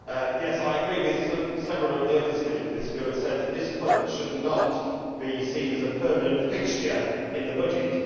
Mr President, yes, I agree with several of the other speakers who have said that this Fund should not be seen as a permanent fixture in the budget.